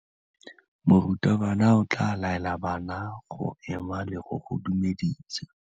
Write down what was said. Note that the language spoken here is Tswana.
Morutabana o tla laela bana go ema le go go dumedisa.